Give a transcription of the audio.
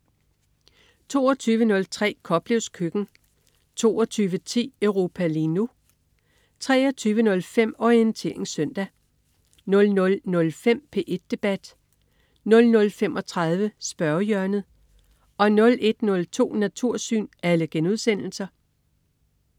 22.03 Koplevs køkken* 22.10 Europa lige nu* 23.05 Orientering søndag* 00.05 P1 Debat* 00.35 Spørgehjørnet* 01.02 Natursyn*